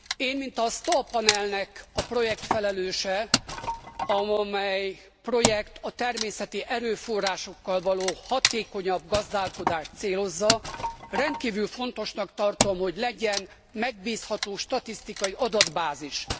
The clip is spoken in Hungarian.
Én, mint a STOA panelnek a projektfelelőse, amely projekt a természeti erőforrásokkal való hatékonyabb gazdálkodást célozza, rendkívül fontosnak tartom, hogy legyen megbízható statisztikai adatbázis.